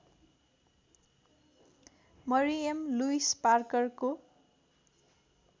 Mariam Louis पार्करको